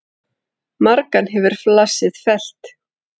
Margan hefur flasið fellt.